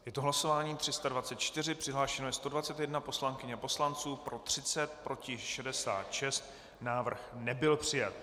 Je to hlasování 324, přihlášeno je 121 poslankyň a poslanců, pro 30, proti 66, návrh nebyl přijat.